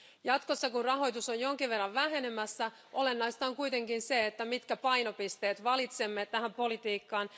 Jatkossa, kun rahoitus on jonkin verran vähenemässä, olennaista on kuitenkin se, että mitkä painopisteet valitsemme tähän politiikkaan.